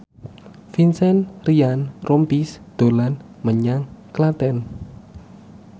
Vincent Ryan Rompies dolan menyang Klaten